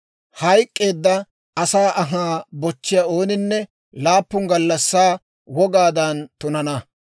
«Hayk'k'eedda asaa anhaa bochchiyaa ooninne laappun gallassaa wogaadan tunana.